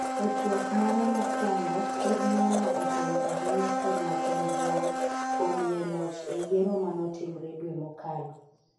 e twak mare mokwongo, ker Nana opwoyo ahinya ker machon John kuom yie loch e yiero manotimre dwe mokalo